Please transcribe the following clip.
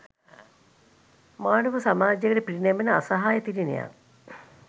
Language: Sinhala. මානව සමාජයකට පිරිනැමෙන අසහාය තිළිණයක්